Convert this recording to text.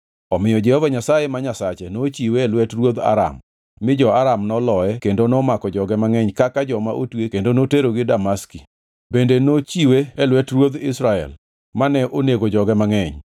Omiyo Jehova Nyasaye ma Nyasache nochiwe e lwet ruodh Aram mi jo-Aram noloye kendo nomako joge mangʼeny kaka joma otwe kendo noterogi Damaski. Bende nochiwe e lwet ruodh Israel, mane onego joge mangʼeny.